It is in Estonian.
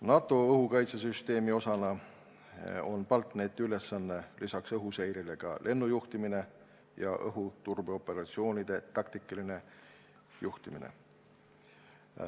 NATO õhukaitsesüsteemi osana on BALTNET-i ülesanne lisaks õhuseirele ka lennujuhtimine ja õhuturbeoperatsioonide taktikaline juhtimine.